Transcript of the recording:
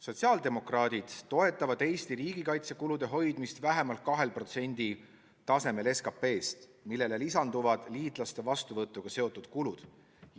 Sotsiaaldemokraadid toetavad Eesti riigikaitsekulude hoidmist vähemalt 2% tasemel SKP-st, millele lisanduvad liitlaste vastuvõtuga seotud kulud.